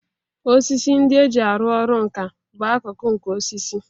Osisi ndị e ji arụ ọrụ nkà bụ akụkụ nke osisi